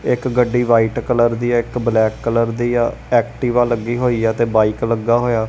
ਇੱਕ ਗੱਡੀ white colour ਦੀ ਹੈ ਇੱਕ ਬਲੈਕ ਕਲਰ ਦੀ ਹੈ ਐਕਟਿਵਾ ਲੱਗੀ ਹੋਈਆ ਤੇ ਬਾਇਕ ਲੱਗਾ ਹੋਇਆ।